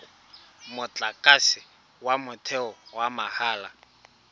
motlakase wa motheo wa mahala